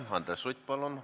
Andres Sutt, palun!